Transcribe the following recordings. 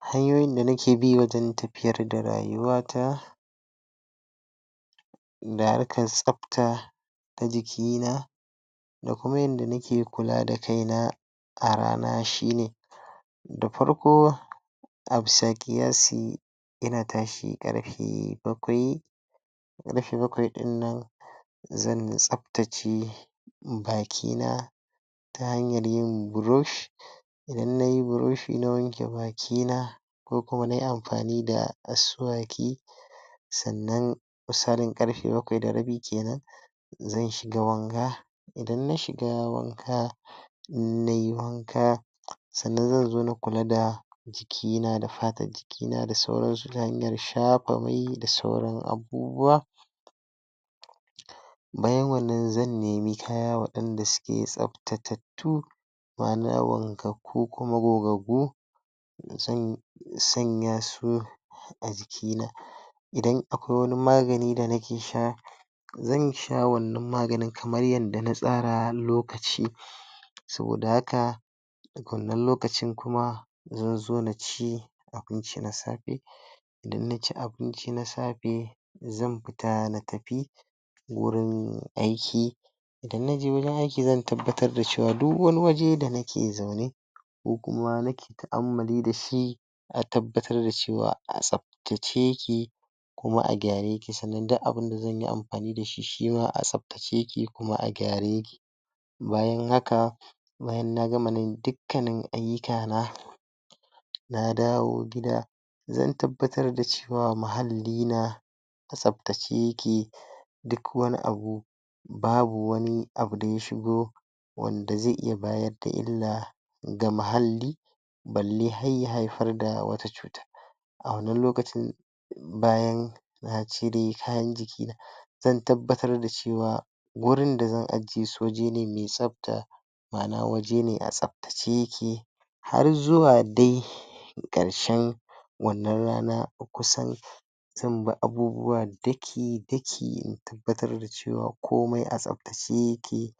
Hanyoyin da nake bi wajen tafiyar da rayuwa ta na rikan tsapta da jiki na da kuma yadda nake kula da kai na a rana shi ne da farko, ina tashi karfe bakwai bakwai dinnan zan tsaptace baki na ta hanyan yin brush idan na yi brushi na wanke baki na ko kuma na yi amfani da sannan misalin karfe bakwai da rabi kenan zan shiga wanka idan na shiga wanka, nayi wanka sannan zan zo na kula da jiki na da patan jiki na da sauran da sauran abubuwa bayan wannan zan nemi kaya wadanda suke tsapttata tu ko kum gogaggu, sanya su a jiki na. idan akwai wani magani da nake sha zan sha wannan magani kamar yadda na sara har lokaci saboda haka daga wannan lokacin kuma abinci na safe idan na ci abinci na safe zan fita na tafi wurin aiki idan na je wajen aiki zan tabbatar da cewa duk wani waje da nake zaune, ko kuma nake da shi a tabbatar da cewa a tsap tace yake kuma a gyare yake, sannan duk abun da zanyi amfani da shi, shima a tsaptace yake kuma a gyare yake bayan haka baya na gama nan duka ayyuka na na dawo gida zan tabbatar da cewa muhalli na tsaptace yake duk wani abu babu wani abu da ya shigo wanda ze iya bayar da illa ga mahalli balle har ya haifar da wata cutar A wannan lokacin, bayan na cire kayan jiki na zan tabbatar da cewa wurin da zan ajiye me tsapta ma'ana waje ne a tsaptace yake har zuwa dai karshen wannan rana kusan abubuwa daki daki in tabbatar da cewa komai a tsaptace yake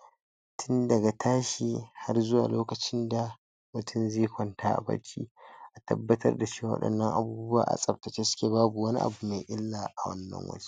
tun daga tashi har zuwa lokacin da mutum ze kwanta a barci